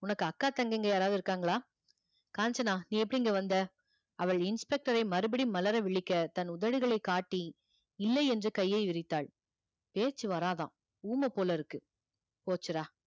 உனக்கு அக்கா தங்கைங்க யாராவது இருக்காங்களா காஞ்சனா நீ எப்படி இங்க வந்த அவள் inspector ஐ மறுபடியும் மலர விழிக்க தன் உதடுகளைக் காட்டி இல்லை என்று கையை விரித்தாள் பேச்சு வராதாம் ஊமை போல இருக்கு போச்சுடா